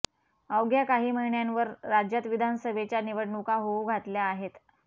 अवघ्या काही महिन्यांवर राज्यात विधानसभेच्या निवडणूका होऊ घातल्या आहेत